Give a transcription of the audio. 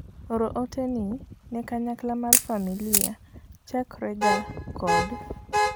oro ote ni ne kanyakla mar familia chakre ga kod